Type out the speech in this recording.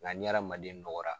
Nga ni adamanden nɔgɔra